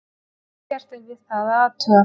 ekkert er við það að athuga